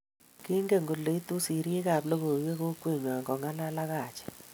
Kingen kole iitu serii ab logoiiwek kokweengwa kongalal ak Haji